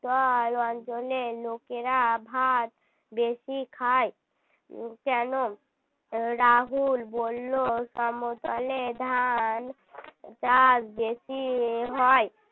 অঞ্চলের লোকেরা ভাত বেশি খায় কেন রাহুল বলল সমতলে ধান ডাল বেশি হয়